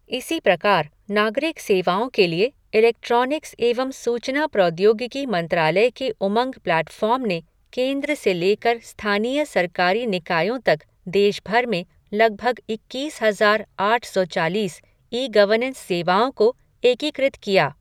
इसी प्रकार, नागरिक सेवाओं के लिए, इलेक्ट्रिॉनिक्स एवं सूचना प्रौद्योगिकी मंत्रालय के उमंग प्लैटफ़ॉर्म ने केंद्र से लेकर स्थानीय सरकारी निकायों तक देश भर में लगभग इक्कीस हज़ार आठ सौ चालीस ई गवर्नेंस सेवाओं को एकीकृत किया।